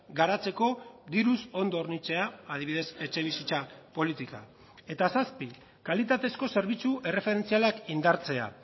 garatzeko diruz ondo hornitzea adibidez etxebizitza politika eta zazpi kalitatezko zerbitzu erreferentzialak indartzea